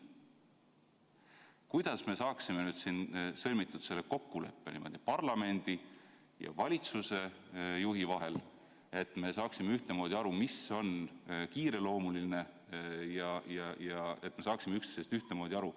Kuidas me saaksime sõlmida kokkuleppe parlamendi ja valitsusjuhi vahel niimoodi, et me saaksime ühtemoodi aru, mis on kiireloomuline, ja et me üldse saaksime üksteisest ühtemoodi aru.